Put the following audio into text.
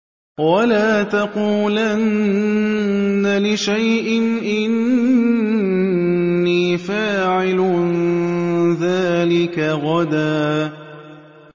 وَلَا تَقُولَنَّ لِشَيْءٍ إِنِّي فَاعِلٌ ذَٰلِكَ غَدًا